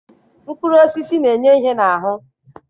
Mkpụrụ osisi na-enye ihe n'ahụ